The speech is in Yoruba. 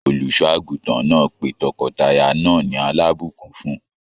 Olùṣọ àgùntàn náà pé tọkọtaya náà ní alabukún fún.